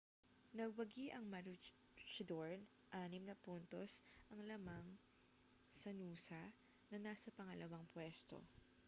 nagwagi ang maroochydore anim na puntos ang lamang sa noosa na nasa pangalawang puwesto